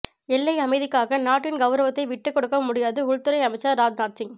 எல்லை அமைதிக்காக நாட்டின் கவுரவத்தை விட்டுக்கொடுக்க முடியாது உள்துறை அமைச்சர் ராஜ்நாத் சிங்